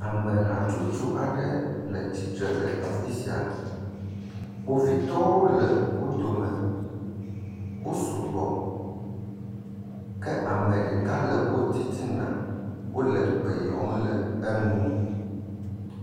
Ame hatsotso aɖe le tsitre le afi sia. Kpovitɔwo le wo dome. Wo sugbɔ ke ame ɖeka le wo titina wo le gbe yɔm le enu.